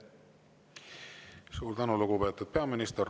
Suur tänu, lugupeetud peaminister!